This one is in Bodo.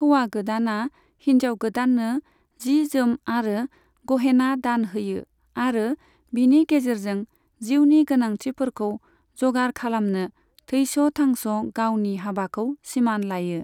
हौवा गोदाना हिनजाव गोदाननो जि जोम आरो गहेना दान होयो आरो बिनि गेजेरजों जिउनि गोनांथिफोरखौ जगार खालामनो थैस' थांस' गावनि हाबाखौ सिमान लायो।